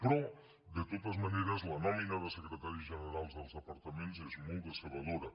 però de totes maneres la nòmina de secretaris generals dels departaments és molt decebedora